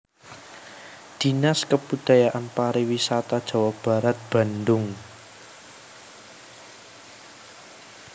Dinas Kebudayaan Pariwisata Jawa Barat Bandung